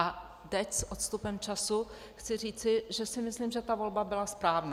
A teď s odstupem času chci říci, že si myslím, že ta volba byla správná.